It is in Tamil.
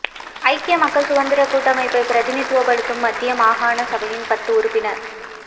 ஐக்கிய மக்கள் சுதந்திரக் கூட்டமைப்பை பிரதிநிதித்துவப்படுத்தும் மத்திய மாகாண சபையின் பத்து உறுப்பினர்